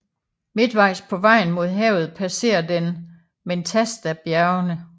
Midtvejs på vejen mod havet passerer den Mentastabjergene